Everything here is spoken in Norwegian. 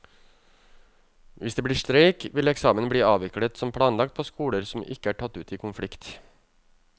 Hvis det blir streik, vil eksamen bli avviklet som planlagt på skoler som ikke er tatt ut i konflikt.